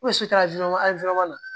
so ta an fɛ yan